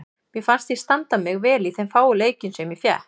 Mér fannst ég standa mig vel í þeim fáu leikjum sem ég fékk.